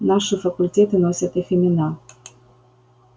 наши факультеты носят их имена